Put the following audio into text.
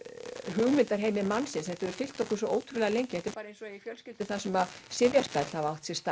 hugmyndaheimi mannsins þetta hefur fylgt okkur svo ótrúlega lengi þetta er bara eins og í einhverri fjölskyldu þar sem sifjaspell hafa átt sér stað